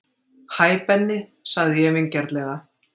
Hæ Benni sagði ég vingjarnlega.